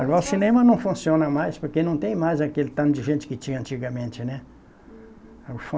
Agora o cinema não funciona mais, porque não tem mais aquele tanto de gente que tinha antigamente, né? Uhum